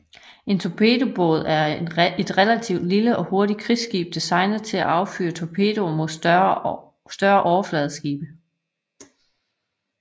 En torpedobåd er et relativt lille og hurtigt krigsskib designet til at affyre torpedoer mod større overfladeskibe